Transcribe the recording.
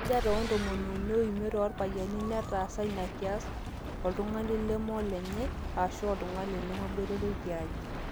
35% oorpayiani netaasa ina kias oltung'ani lemeolenye aashu oltung'ani lemeboitare tiaji